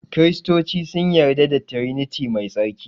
Kiristoci sun yarda da triniti mai tsarki